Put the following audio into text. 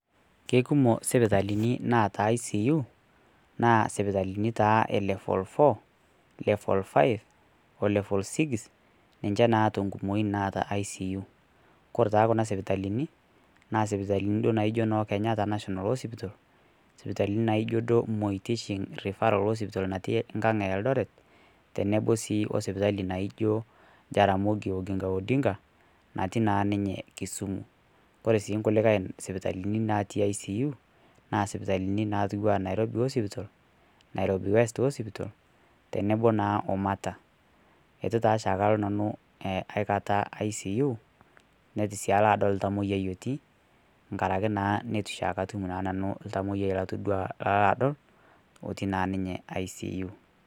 Keikumok isipitalini naata ICU naa isipitalini e level 4 5 o level 6 ninche naa tenkumoi naata ICU naa ore naaijio Kenyatta referral hospital naijo moi hospital natii enkang eldoret tenebo sii osipitali naijio jaramogi oginga odinga natii naa ninye Kisumu koree sii nkulie natii ICU naa sipitali naijio Nairobi hospital Nairobi west hospital tedemo naa omata eituntaa aikata oshi nanu alo icu netitu sii alo adol oltamoyiai otii nkaraki naa neitu oshi nanu atum oltamoyia lano adol otiii naa ninye icu.